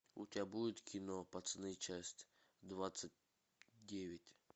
у тебя будет кино пацаны часть двадцать девять